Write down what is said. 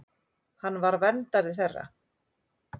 Hann var verndari þeirra.